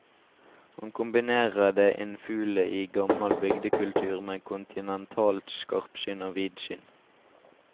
Han kombinerer det innfule i gammel bygdekultur med kontinentalt skarpsyn og vidsyn.